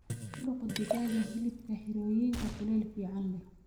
Ku daqoo digaaga hilibka xirooyinka kuleel fican leeh.